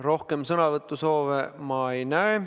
Rohkem sõnavõtusoove ma ei näe.